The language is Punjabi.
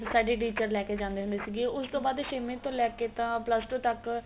ਸਾਡੀ teacher ਲੈ ਕੇ ਜਾਂਦੀ ਹੁੰਦੇ ਸੀਗੇ ਉਸ ਤੋਂ ਬਾਅਦ ਛੇਵੀ ਤੋਂ ਲੈ ਕੇ ਤਾਂ plus two ਤੱਕ